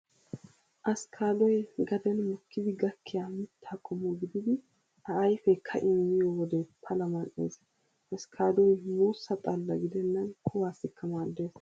Askkaaddoy gaden mookkidi gakkiyaa mitta qommo gididi a ayfee ka'in miyo wode pala mal'ees. Askkaaddoy muussa xalla gidennan kuwaassikka maaddees.